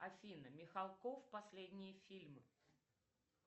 афина михалков последние фильмы